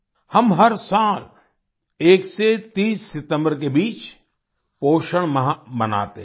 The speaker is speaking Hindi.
हम हर साल 1 से 30 सितम्बर के बीच पोषण माह मनाते हैं